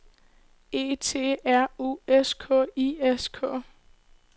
E T R U S K I S K